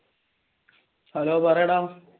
Hello പറയടാ